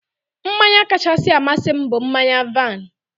Mmanya kachasị amasị m bụ mmanya vaịn.